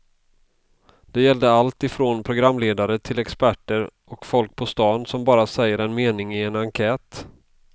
Det gällde allt ifrån programledare till experter och folk på stan som bara säger en mening i en enkät.